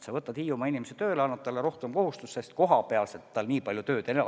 Sa võtad Hiiumaa inimese tööle ja annad talle rohkem kohustusi, sest kohapealsete kohustustega tal nii palju tööd ei ole.